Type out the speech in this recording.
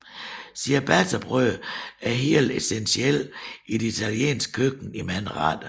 Ciabattabrød er helt essentielt i det italienske køkken i mange retter